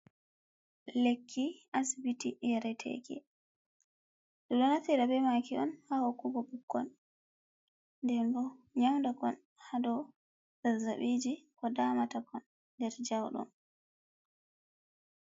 Lekki asbitii, yareteeki. do naftira bemaaki on ha hokkugo ɓikkon den bo nyauda kon ha dou zazzaɓiiji ko daamatakon ha nyauɗum.